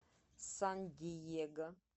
сан диего